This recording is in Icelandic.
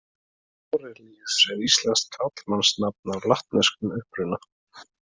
Árelíus er íslenskt karlmannsnafn af latneskum uppruna.